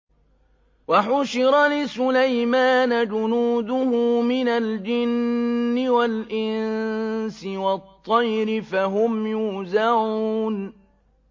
وَحُشِرَ لِسُلَيْمَانَ جُنُودُهُ مِنَ الْجِنِّ وَالْإِنسِ وَالطَّيْرِ فَهُمْ يُوزَعُونَ